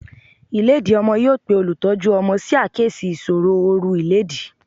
Ìlédìí ọmọ yóò pe olùtọ́jú ọmọ sí àkíyèsí ìṣòro oru ìlédìí.